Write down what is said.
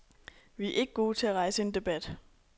Vi er ikke gode til at rejse en debat.